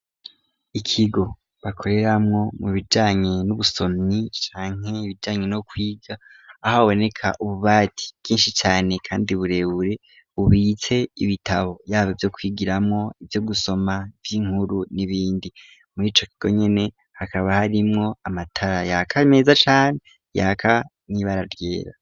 Ikigo bakoreramwo mu bijanye n'ubusomyi canke ibijanye no kwiga aho baboneka ububati bwinshi cane, kandi burebure ubise ibitabo yabo vyo kwigiramwo ivyo gusoma vy'inkuru n'ibindi mu'ico kigo nyene hakaba harimwo amatara yaka meza cane yaka niba araryera.